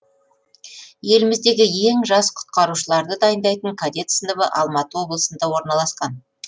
еліміздегі ең жас құтқарушыларды дайындайтын кадет сыныбы алматы облысында орналасқан